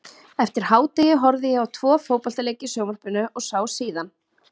Eftir hádegi horfði ég á tvo fótboltaleiki í sjónvarpinu og sá síðan